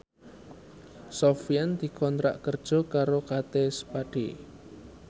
Sofyan dikontrak kerja karo Kate Spade